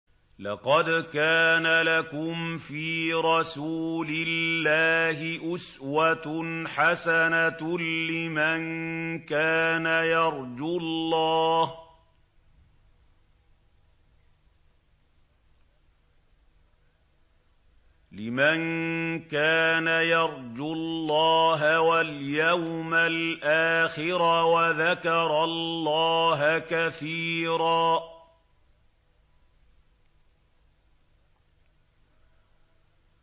لَّقَدْ كَانَ لَكُمْ فِي رَسُولِ اللَّهِ أُسْوَةٌ حَسَنَةٌ لِّمَن كَانَ يَرْجُو اللَّهَ وَالْيَوْمَ الْآخِرَ وَذَكَرَ اللَّهَ كَثِيرًا